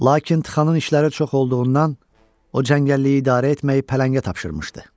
Lakin Txanın işləri çox olduğundan o cəngəlliyi idarə etməyi pələngə tapşırmışdı.